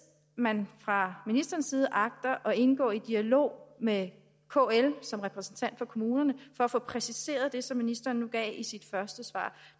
man fra ministerens side agter at indgå i dialog med kl som repræsentant for kommunerne for at få præciseret det som ministeren nu sagde i sit første svar